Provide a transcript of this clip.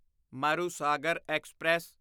Marusagar express